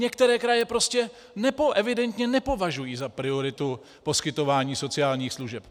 Některé kraje prostě evidentně nepovažují za prioritu poskytování sociálních služeb.